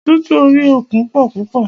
Ọ̀tútù orí òkun pọ púpọ̀.